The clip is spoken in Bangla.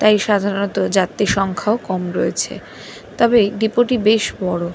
তাই সাধারণত যাত্রী সংখ্যাও কম রয়েছে। তবে ডিপো -টি বেশ বড়ো।